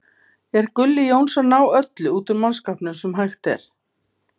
Er Gulli Jóns að ná öllu úr mannskapnum sem hægt er?